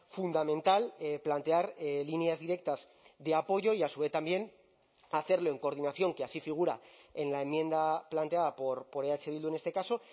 fundamental plantear líneas directas de apoyo y a su vez también hacerlo en coordinación que así figura en la enmienda planteada por eh bildu en este caso